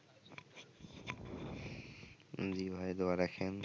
জি ভাই দোয়া রাখেন।